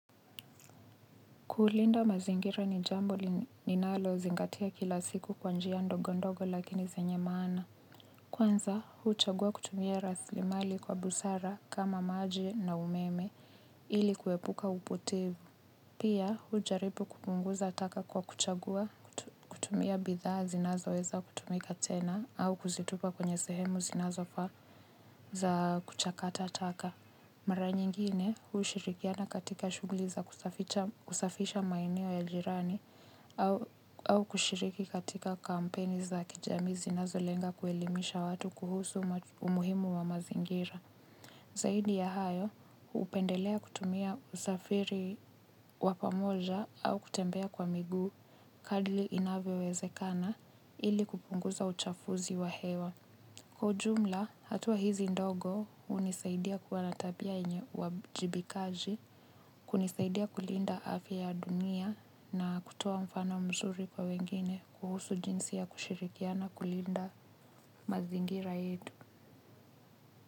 Kulinda mazingira ni jambo ninalozingatia kila siku kwa njia ndogo ndogo lakini zenye maana. Kwanza huchagua kutumia raslimali kwa busara kama maji na umeme ili kuepuka upotevu. Pia hujaribu kupunguza taka kwa kuchagua kutumia bidhaa zinazoweza kutumika tena au kuzitupa kwenye sehemu zinazofaa za kuchakata taka. Mara nyingine hushirikiana katika shughuli za kusafisha maeneo ya jirani au kushiriki katika kampeni za kijami zinazo lenga kuelimisha watu kuhusu umuhimu wa mazingira. Zaidi ya hayo hupendelea kutumia usafiri wa pamoja au kutembea kwa miguu kadri inavyowezekana ili kupunguza uchafuzi wa hewa. Kwa ujumla, hatua hizi ndogo hunisaidia kuwa na tabia yenye uwajibikaji, kunisaidia kulinda afya ya dunia na kutoa mfano mzuri kwa wengine kuhusu jinsi ya kushirikiana kulinda mazingira yetu.